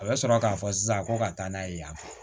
A bɛ sɔrɔ k'a fɔ sisan ko ka taa n'a ye yanfɛ